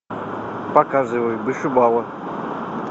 показывай вышибала